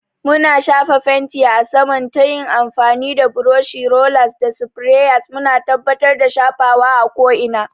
Muna shafa fenti a saman ta yin amfani da burushi, rollers, ko sprayers, muna tabbatar da shafawa a ko'ina.